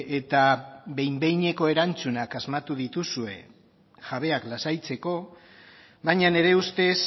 eta behin behineko erantzunak asmatu dituzue jabeak lasaitzeko baina nire ustez